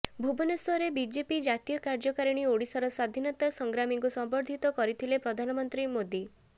ଭୁବନେଶ୍ୱରରେ ବିଜେପି ଜାତୀୟ କାର୍ଯ୍ୟକାରିଣୀରେ ଓଡିଶାର ସ୍ୱାଧୀନତା ସଂଗ୍ରାମୀଙ୍କୁ ସମ୍ବର୍ଦ୍ଧିତ କରିଥିଲେ ପ୍ରଧାନମନ୍ତ୍ରୀ ମୋଦି